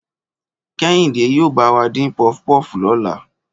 Kẹ́hìndé yóò bá wa dín puff puff lọ́la